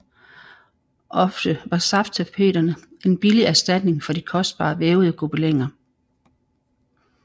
Ofte var safttapeterne en billig erstatning for de kostbare vævede gobeliner